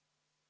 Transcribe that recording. Aitäh!